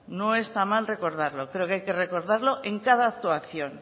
no está mal recordarlo yo creo que hay que recordarlo en cada actuación